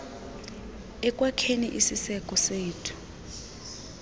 ekwakheni isiseko sethu